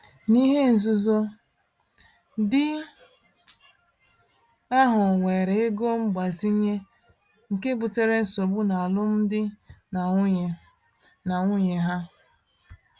N’ihe nzuzo, di ahụ weere ego mgbazinye, nke butere nsogbu n’alụmdi na nwunye na nwunye ha.